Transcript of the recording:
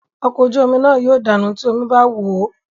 Ọkọ̀ ojú omi náà yóò dànù tí omí bá wòó.